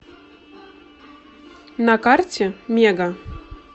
на карте мега